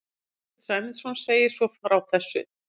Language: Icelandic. Þorsteinn Sæmundsson segir svo frá þessu: